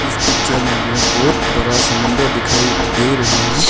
इस पिक्चर में हमें बहुत बड़ा समुंदर दिखाई दे रहे हैं।